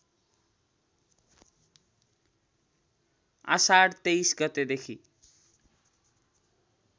आषाढ २३ गतेदेखि